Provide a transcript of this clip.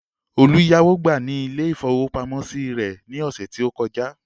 Olú yáwó gbà ní ilé-ìfowópamọ́sí rẹ̀ ní ọ̀sẹ̀ tó kọjá.